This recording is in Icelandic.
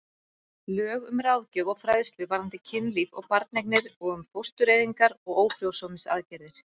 Lög um ráðgjöf og fræðslu varðandi kynlíf og barneignir og um fóstureyðingar og ófrjósemisaðgerðir.